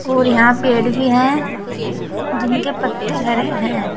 और यहां पेड़ भी है जिनके पत्ते हरे हैं।